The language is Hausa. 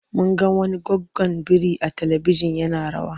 Mun ga wani goggon biri a talibijin yana rawa.